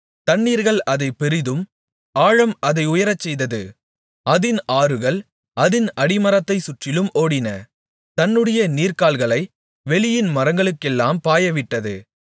தண்ணீர்கள் அதைப் பெரிதும் ஆழம் அதை உயரச்செய்தது அதின் ஆறுகள் அதின் அடிமரத்தைச் சுற்றிலும் ஓடின தன்னுடைய நீர்க்கால்களை வெளியின் மரங்களுக்கெல்லாம் பாயவிட்டது